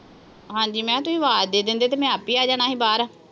ਹਾਂ ਜੀ। ਮੈਂ ਕਿਹਾ ਤੁਸੀਂ ਆਵਾਜ਼ ਦੇ ਦਿੰਦੇ ਤੇ ਮੈਂ ਆਪੇ ਆ ਜਾਣਾ ਸੀ ਬਾਹਰ।